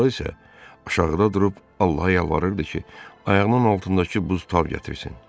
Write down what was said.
Fransua isə aşağıda durub Allaha yalvarırdı ki, ayağının altındakı buz tab gətirsin.